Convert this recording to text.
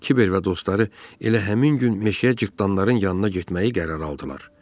Kiber və dostları elə həmin gün meşəyə cırtdanların yanına getməyi qərar aldılar.